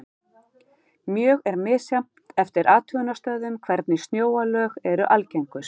Mjög er misjafnt eftir athugunarstöðvum hvernig snjóalög eru algengust.